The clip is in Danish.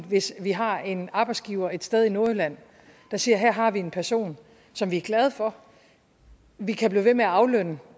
hvis vi har en arbejdsgiver et sted i nordjylland der siger her har vi en person som vi er glade for vi kan blive ved med at aflønne